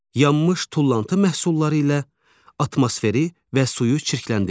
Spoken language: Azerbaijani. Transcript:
Yanmış tullantı məhsulları ilə atmosferi və suyu çirkləndirir.